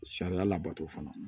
Sariya labato fana